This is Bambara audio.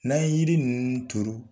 N'an ye yiri ninnu turu